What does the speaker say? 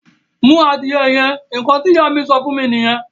Mú adìyẹ yẹn! Ǹkan tí Ìyá mi sọ fún mí nìyẹn